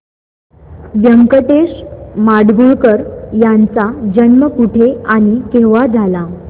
व्यंकटेश माडगूळकर यांचा जन्म कुठे आणि केव्हा झाला